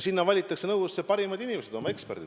Sinna valitakse, nõukogudesse, parimad inimesed, oma ala eksperdid.